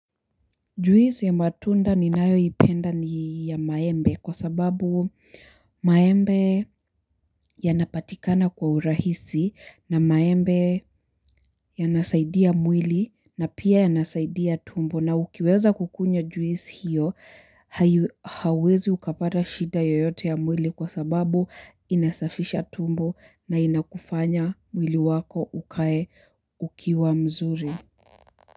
Juisi ya matunda ninayo ipenda ni ya maembe kwa sababu maembe yanapatikana kwa urahisi na maembe yanasaidia mwili na pia yanasaidia tumbo na ukiweza kukunywa juisi hiyo hai hauwezi ukapata shida yoyote ya mwili kwa sababu inasafisha tumbo na inakufanya mwili wako ukae ukiwa mzuri.